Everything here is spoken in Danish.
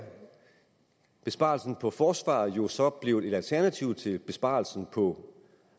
besparelsen på forsvaret jo så blevet et alternativ til besparelsen på